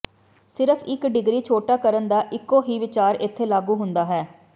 ਸਿਰਫ ਇੱਕ ਡਿਗਰੀ ਛੋਟਾ ਕਰਨ ਦਾ ਇੱਕੋ ਹੀ ਵਿਚਾਰ ਇੱਥੇ ਲਾਗੂ ਹੁੰਦਾ ਹੈ